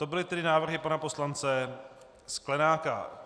To byly tedy návrhy pana poslance Sklenáka.